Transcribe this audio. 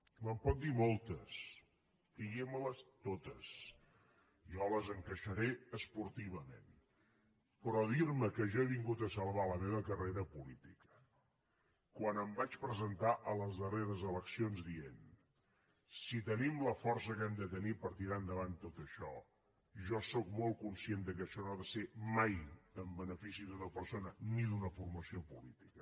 me’n pot dir moltes diguimeles totes jo les encaixaré esportivament però dirme que jo he vingut a salvar la meva carrera política quan em vaig presentar a les darreres eleccions dient si tenim la força que hem de tenir per tirar endavant tot això jo sóc molt conscient que això no ha de ser mai en benefici d’una persona ni d’una formació política